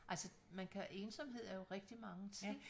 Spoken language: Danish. Altså man kan ensomhed er jo rigtig mange ting